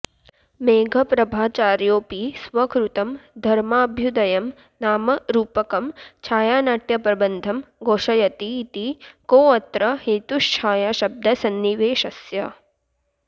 मेघप्रभाचार्योऽपि स्वकृतं धर्माभ्युदयं नाम रूपकं छायानाट्यप्रबन्धं घोषयतीति कोऽत्र हेतुश्छायाशब्दसन्निवेशस्य